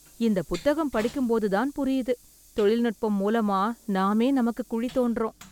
இந்த புத்தம் படிக்கும் போது தான் புரியுது. தொழில்நுட்பம் மூலமா நாமே நமக்கு குழி தோண்டறோம்